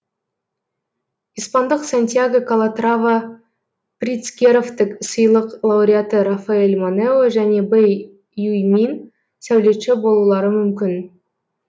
испандық сантьяго калатрава притцкеровтік сыйлық лауреаты рафаэль монео және бэй юймин сәулетші болулары мүмкін